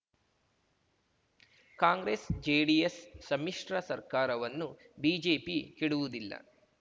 ಕಾಂಗ್ರೆಸ್‌ಜೆಡಿಎಸ್‌ ಸಮ್ಮಿಶ್ರ ಸರ್ಕಾರವನ್ನು ಬಿಜೆಪಿ ಕೆಡುವುದಿಲ್ಲ